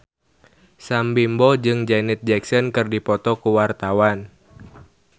Sam Bimbo jeung Janet Jackson keur dipoto ku wartawan